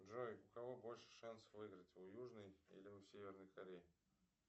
джой у кого больше шансов выиграть у южной или северной кореи